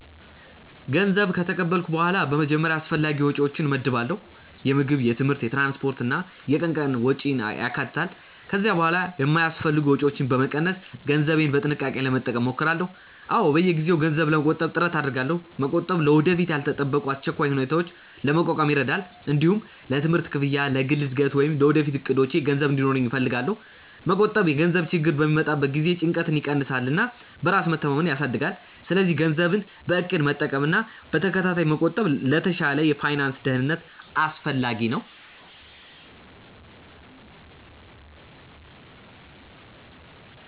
ገንዘብ ከተቀበልኩ በኋላ በመጀመሪያ አስፈላጊ ወጪዎቼን እመድባለሁ። የምግብ፣ የትምህርት፣ የትራንስፖርት እና የቀን ቀን ወጪን ያካትታሉ። ከዚያ በኋላ የማይአስፈልጉ ወጪዎችን በመቀነስ ገንዘቤን በጥንቃቄ ለመጠቀም እሞክራለሁ። አዎ፣ በየጊዜው ገንዘብ ለመቆጠብ ጥረት አደርጋለሁ። መቆጠብ ለወደፊት ያልተጠበቁ አስቸኳይ ሁኔታዎችን ለመቋቋም ይረዳል። እንዲሁም ለትምህርት ክፍያ፣ ለግል እድገት ወይም ለወደፊት እቅዶቼ ገንዘብ እንዲኖረኝ እፈልጋለሁ። መቆጠብ የገንዘብ ችግር በሚመጣበት ጊዜ ጭንቀትን ይቀንሳል እና በራስ መተማመንን ያሳድጋል። ስለዚህ ገንዘብን በእቅድ መጠቀምና በተከታታይ መቆጠብ ለተሻለ የፋይናንስ ደህንነት አስፈላጊ ነው።